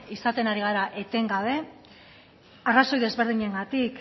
izaten ari gara etengabe arrazoi desberdinengatik